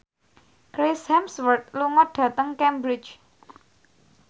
Chris Hemsworth lunga dhateng Cambridge